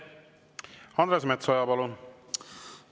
Andres Metsoja, palun!